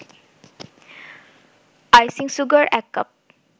icing sugar ১ cup